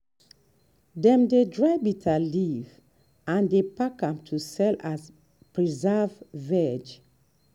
dem dey dry bitterleaf and dey pack am to sell as preserved veg.